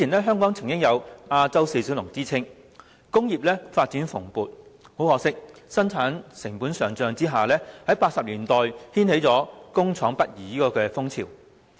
香港曾有"亞洲四小龍"之稱，工業發展蓬勃，但可惜由於生產成本上漲 ，1980 年代掀起了工廠北移潮。